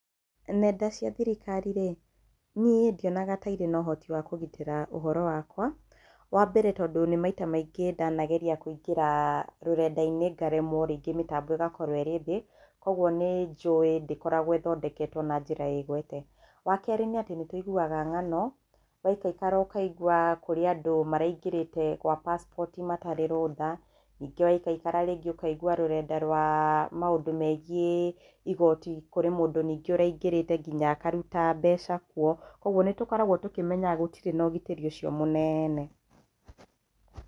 Nenda cia thirikari ĩ, niĩ ndionaga kaĩ irĩ na ũhoti wa kũgitĩra ũhoro wakwa, wambere tondũ nĩ maita maingĩ ndanageria kũingĩra, rũrenda - inĩ ngaremwo rĩngĩ mĩtambo ĩgakorwo ĩrĩthĩ, kogwo nĩnjuĩ ndĩkoragwo ĩthondeketwo na njĩra ĩgwete, wa kerĩ nĩatĩ nĩtũigũaga ng'ano, waikaikara ũkaigwa kũrĩ andũ maraingĩrĩte kwa pasport matarĩ rũtha, ningĩ waikaikara rĩngĩ ũkaigwa rũrenda rwaa, maũndũ megiĩ igoti kũrĩ mũndũ ningĩ ũraingĩrĩte ngina akarũta mbeca kũo, kogwo nĩtũkoragwo tũkĩmenya gũtirĩ na ũgitĩri ũcio mũnene.